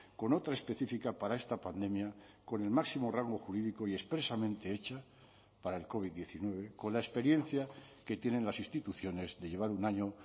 con otra específica para esta pandemia con el máximo rango jurídico y expresamente hecha para el covid diecinueve con la experiencia que tienen las instituciones de llevar un año